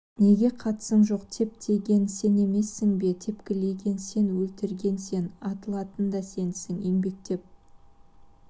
неге қатысың жоқ теп деген сен емессің бе тепкілеген сен өлтірген сен атылатын да сенсің еңбектеп